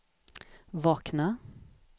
vakna